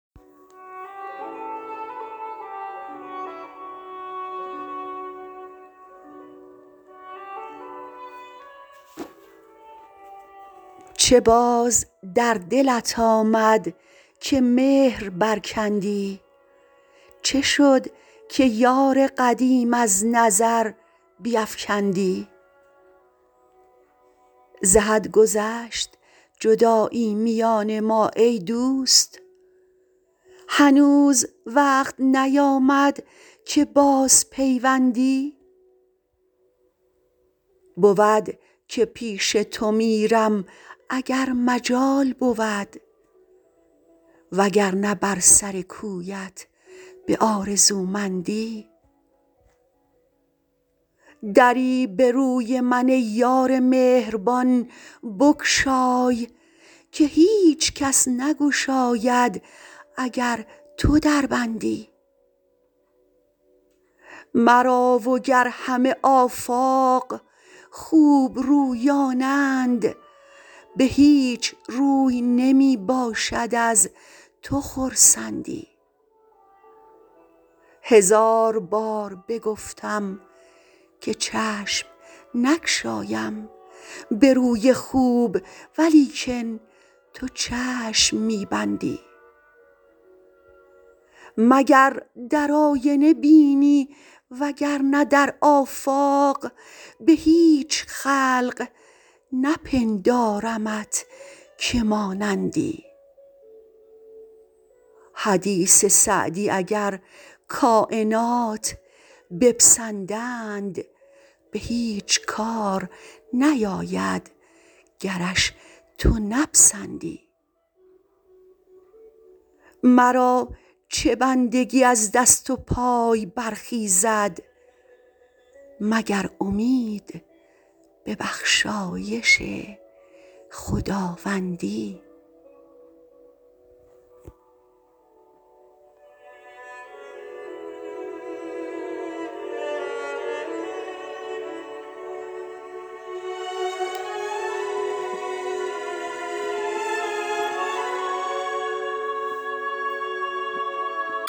چه باز در دلت آمد که مهر برکندی چه شد که یار قدیم از نظر بیفکندی ز حد گذشت جدایی میان ما ای دوست هنوز وقت نیامد که بازپیوندی بود که پیش تو میرم اگر مجال بود وگرنه بر سر کویت به آرزومندی دری به روی من ای یار مهربان بگشای که هیچ کس نگشاید اگر تو در بندی مرا وگر همه آفاق خوبرویانند به هیچ روی نمی باشد از تو خرسندی هزار بار بگفتم که چشم نگشایم به روی خوب ولیکن تو چشم می بندی مگر در آینه بینی وگرنه در آفاق به هیچ خلق نپندارمت که مانندی حدیث سعدی اگر کاینات بپسندند به هیچ کار نیاید گرش تو نپسندی مرا چه بندگی از دست و پای برخیزد مگر امید به بخشایش خداوندی